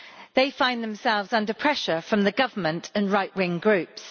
They find themselves under pressure from the government and right wing groups.